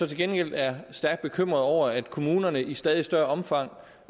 til gengæld er stærkt bekymret over at kommunerne i stadig større omfang